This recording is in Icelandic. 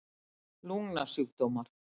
lungnasjúkdómar